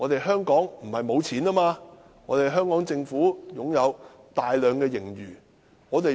香港政府不是沒有錢，而是擁有大量盈餘。